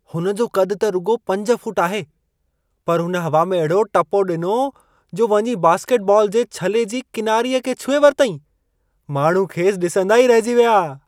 हुनजो क़दु त रुॻो 5 फुट आहे, पर हुन हवा में अहिड़ो टिपो ॾिनो, जो वञी बास्केटबॉल जे छले जी किनारीअ खे छुहे वरितईं। माण्हू खेसि ॾिसंदा ई रहिजी विया।